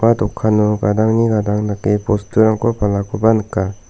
dokano gadangni gadang dake bosturangko palakoba nika.